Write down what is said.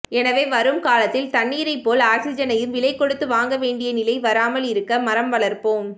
எனவே வரும் காலத்தில் தண்ணீரை போல் ஆக்சிஜனையும் விலை கொடுத்து வாங்க வேண்டிய நிலை வராமல் இருக்க மரம் வளர்ப்போம்